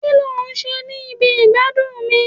ki lo n ṣe ni ibi igbadun mi